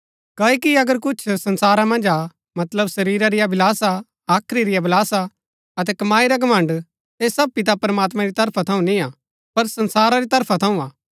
क्ओकि अगर कुछ संसारा मन्ज हा मतलब शरीरा री अभिलाषा हाख्री री अभिलाषा अतै कमाई रा घमण्ड़ ऐह सब पिता प्रमात्मां री तरफा थऊँ निआं पर संसारा री तरफा थऊँ हा